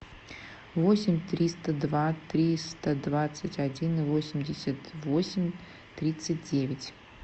восемь триста два триста двадцать один восемьдесят восемь тридцать девять